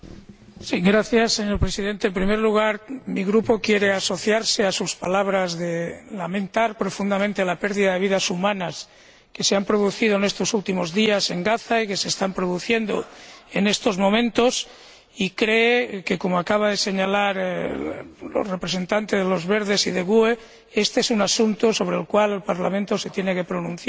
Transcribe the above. Señor Presidente, en primer lugar, mi Grupo quiere asociarse a sus palabras de profunda lamentación por la pérdida de vidas humanas que se ha producido en estos últimos días en Gaza, y que sigue produciéndose en estos momentos, y cree que, como acaban de señalar los representantes de los Grupos Verts ALE y GUE NGL, éste es un asunto sobre el cual el Parlamento se tiene que pronunciar,